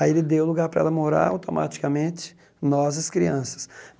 Aí ele deu lugar para ela morar automaticamente, nós as crianças.